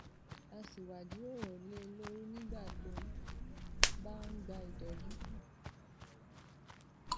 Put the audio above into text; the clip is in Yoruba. á sì wá jíròrò lé e lórí nígbà tó bá ń gba ìtójú